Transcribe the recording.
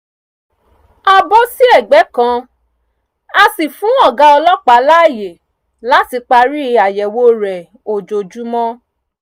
a bọ́ sí ẹ̀gbẹ́ kan a sì fún ọ̀gá ọlọ́pàá láàyè láti parí àyẹ̀wò rẹ̀ ojoojúmọ́